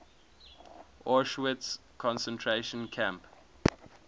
auschwitz concentration camp